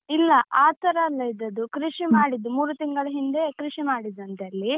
ಇಲ್ಲ, ಆ ತರ ಅಲ್ಲ ಇದ್ದದ್ದು ಕೃಷಿ ಮಾಡಿದ್ದು ಮೂರು ತಿಂಗಳ ಹಿಂದೆ ಕೃಷಿ ಮಾಡಿದ್ದಂತೆ ಅಲ್ಲಿ.